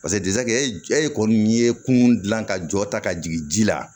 paseke e kɔni ye kun gilan ka jɔ ta ka jigin ji la